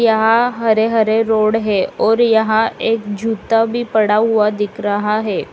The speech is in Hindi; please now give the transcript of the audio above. यहां हरे हरे रोड है और यहां एक जूता भी पड़ा हुआ दिख रहा है।